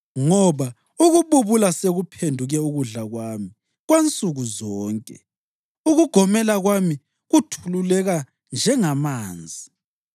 Ngoba ukububula sokuphenduke ukudla kwami kwansukuzonke; ukugomela kwami kuthululeka njengamanzi.